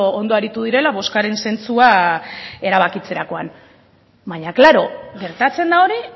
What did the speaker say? ondo aritu direla bozkaren zentzua erabakitzerakoan baina claro gertatzen da hori